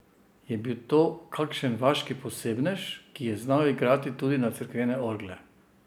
Je bil to kakšen vaški posebnež, ki je znal igrati tudi na cerkvene orgle?